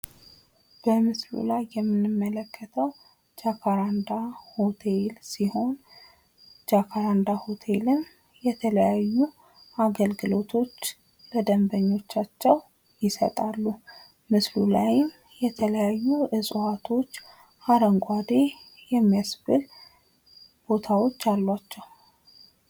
በምስሉ ላይ የምንመለከተው ጃካራንዳ ሆቴልን ሲሆን ጃካራንዳ ሆቴልም የተለያዩ አገልግሎቶች ለደንበኞቻቸው ይሰጣሉ። ምስሉ ላይም የተለያዩ እጽዋቶች አረንጓዴ ቦታዎች አሏቸው።